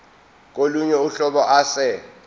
kolunye uhlobo ase